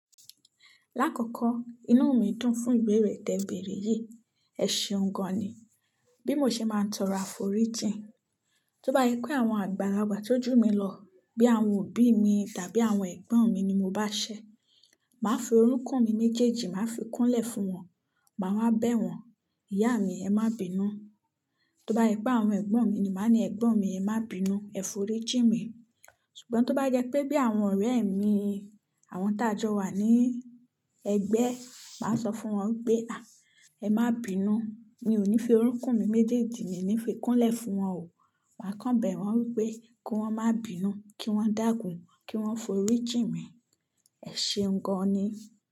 Lákòókò, inú mi dùn fún ìbeeré tè beere yìí. Ẹ ṣeun gan ni. Bí mo ṣe máa ń tọrọ á forí jì. Tóbá jẹ pé àwọn àgbàlagbà tó jù mí lọ bí àwọn òbí mi tàbí àwọn ẹ̀gbọ́n mi ni mo bá ṣẹ, màá fi orokún mi méjèèjì, màá fi kúnlẹ̀ fún wọn, màá wá bẹ̀ wọ́n. "Ìyá mi, ẹ má bínú." Tóbá sẹ pé àwọn ẹ̀gbọ́n mi ni, màá ní, "Ẹ̀gbọ́n mi, ẹ má bínú, ẹ forí jì mi." Ṣùgbọ́n tó bá jẹ pé bí àwọn ọ̀rẹ́ mi, àwọn tá jọ wà ní ẹgbẹ́, màá sọ fún wọn pé, "Àa ẹ má bínú. Mi ò ní fi orokún mi méjèèjì, mi ò ní fi kúnlẹ̀ fún wọn o." Màá kàn bẹ̀ wọ́n wípé, kí wọ́n má bínú, kí wọ́n dàkún, kí wọ́n forí jì mi. Ẹ ṣeun gan ni.